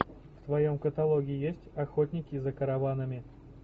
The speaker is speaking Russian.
в твоем каталоге есть охотники за караванами